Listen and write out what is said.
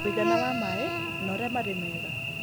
Ũigana wa maĩ na ũrĩa marĩ mega